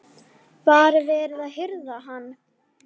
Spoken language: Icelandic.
Var verið að hirða hann?